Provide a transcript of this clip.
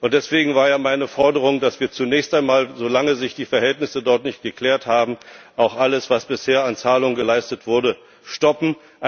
Deswegen war meine Forderung, dass wir zunächst einmal so lange sich die Verhältnisse dort nicht geklärt haben alles, was bisher an Zahlungen geleistet wurde, stoppen.